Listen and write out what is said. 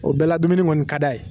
O bɛɛ la dumuni kɔni ka d'a ye